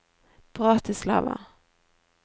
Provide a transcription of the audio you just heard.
Bratislava